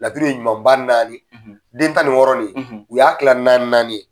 Laturu ye ɲuman ba naani, , den tan ni wɔɔrɔ nin, , u y'a tila naani naani ye